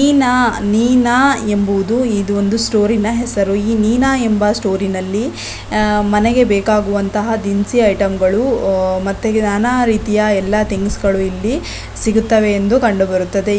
ನೀನಾ ನೀನಾ ಎಂಬುವುದು ಇದೊಂದು ಸ್ಟೋರಿನ ಹೆಸರು ಈ ಮೀನಾ ಎಂಬ ಸ್ಟೋರಿನಲ್ಲಿ ಅಹ್ ಮನೆಗೆ ಬೇಕಾಗುವಂತಹ ದಿನಸಿ ಐಟಂಗಳು ಅಹ್ ಮತ್ತೆ ನಾನಾ ರೀತಿ ಎಲ್ಲಾ ಥಿಂಗ್ಸ್ ಗಳು ಇಲ್ಲಿ ಸಿಗುತ್ತವೆ ಎಂದು ಕಂಡುಬರುತ್ತದೆ.